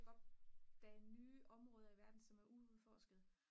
opdage nye områder i verden som er uudforskede